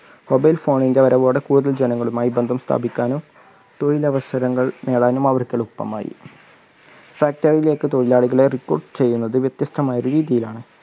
mobile phone ൻറെ വരവോടെ കൂടുതൽ ജനങ്ങളുമായി ബന്ധം സ്ഥാപിക്കുവാനും തൊഴിൽ അവസരങ്ങൾ നേടാനും അവർക്ക് എളുപ്പമായി. factory ലേക്ക് തൊഴിലാളികളെ recruitment ചെയ്യുന്നത് വ്യത്യസ്തമായ രീതിയിലാണ്.